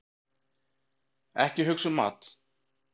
Ekki hugsa um mat!